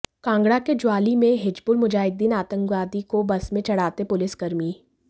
कांगड़ा के ज्वाली में हिजबुल मुजाहिद्दीन आतंकवादी को बस में चढ़ाते पुलिस कर्मी